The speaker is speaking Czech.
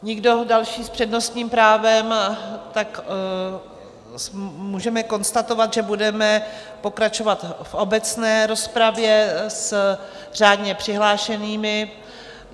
Nikdo další s přednostním právem, tak můžeme konstatovat, že budeme pokračovat v obecné rozpravě s řádně přihlášenými.